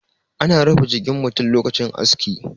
ana rufe jikin mutum lokacin aski